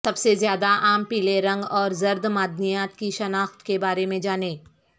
سب سے زیادہ عام پیلے رنگ اور زرد معدنیات کی شناخت کے بارے میں جانیں